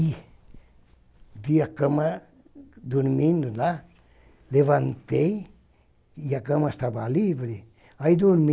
E vi a cama dormindo lá, levantei, e a cama estava livre, aí dormi.